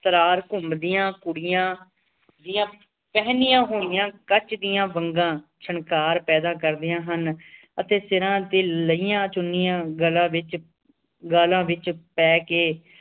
ਘੁੰਮਦੀਆਂ ਕੁੜੀਆਂ ਦੀਆਂ ਪਹਿਨੀਆਂ ਹੁਈਆਂ ਕੱਚ ਦੀਆਂ ਵੰਗਾਂ ਛਣਕਾਰ ਪੈਦਾ ਕਰਦਿਆਂ ਹਨ ਅਤੇ ਸਿਰਾ ਤੇ ਲਇਆਂ ਚੁਨੀਆਂ ਗੱਲਾਂ ਵਿਚ ਗਾਲਾਂ ਵਿਚ ਪੈ ਕੇ